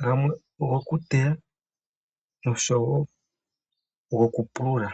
Gamwe ogo ku teya noshowo goku pulula.